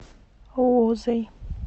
лузой